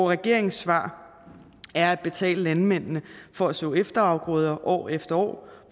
regeringens svar er at betale landmændene for at så efterafgrøder år efter år